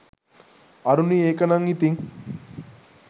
අරුණි ඒක නම් ඉතිං